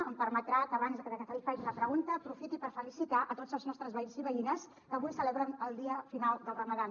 em permetrà que abans de que li faci la pregunta aprofiti per felicitar tots els nostres veïns i veïnes que avui celebren el dia final del ramadà